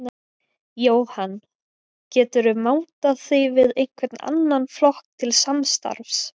Jóhann: Geturðu mátað þig við einhvern annan flokk til samstarfs?